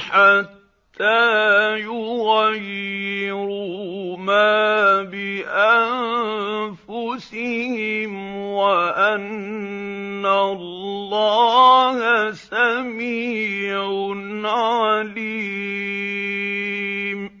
حَتَّىٰ يُغَيِّرُوا مَا بِأَنفُسِهِمْ ۙ وَأَنَّ اللَّهَ سَمِيعٌ عَلِيمٌ